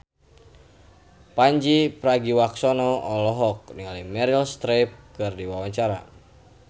Pandji Pragiwaksono olohok ningali Meryl Streep keur diwawancara